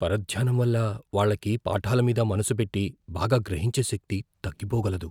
పరధ్యానం వల్ల వాళ్ళకి పాఠాల మీద మనసు పెట్టి, బాగా గ్రహించే శక్తి తగ్గిపోగలదు.